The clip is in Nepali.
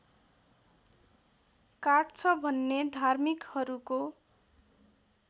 काट्छ भन्ने धार्मिकहरूको